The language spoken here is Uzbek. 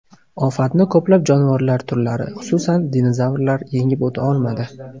Ofatni ko‘plab jonivorlar turlari, xususan, dinozavrlar yengib o‘ta olmadi.